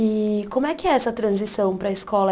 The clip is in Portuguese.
E como é que é essa transição para a escola?